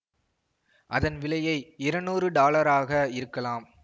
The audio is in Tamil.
அதன் விலையை இருநூறு டாலர்களாக இருக்கலாம்